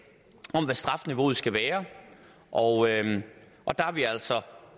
om hvad strafniveauet skal være og og der er vi altså